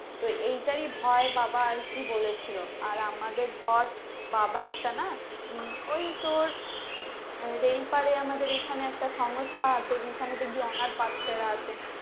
তো এইটার ভয় বাবা আরকি বলেছিলো আর আমাদের ধর বাবার একটা না ওই তোর রেল পারে আমাদের এখানে একটা সংস্থা আছে যেখানে দেখবি অনাথ বাচ্চারা থাকে